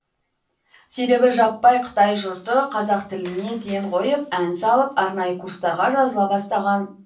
себебі жаппай қытай жұрты қазақ тіліне ден қойып ән салып арнайы курстарға жазыла бастаған